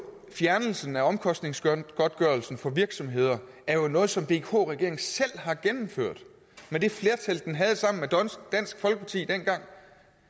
fjernelsen af omkostningsgodtgørelsen for virksomheder er jo noget som vk regeringen selv har gennemført med det flertal den havde sammen med dansk folkeparti dengang